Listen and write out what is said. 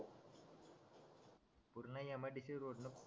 पूर्ण M I D C road न